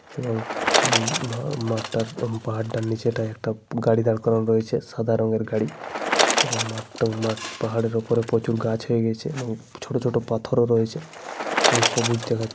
এবং ম ম মাঠটার এবং পাহাড়টার নিচেটায় একটা গাড়ি দাঁড় করানো রয়েছে সাদা রঙের গাড়ি। এবং মাঠটা মাঠ পাহাড়ের ওপর প্রচুর গাছ হয়ে গিয়েছে এবং ছোট ছোট পাথরও রয়েছে। এবং সবুজ দেখা --